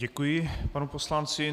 Děkuji panu poslanci.